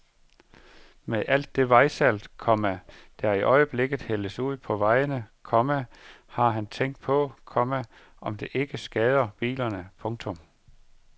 Med alt det vejsalt, komma der i øjeblikket hældes ud på vejene, komma har han tænkt på, komma om ikke det skader bilerne. punktum